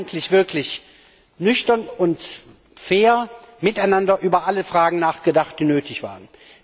Haben wir eigentlich wirklich nüchtern und fair miteinander über alle Fragen nachgedacht, die nötig waren?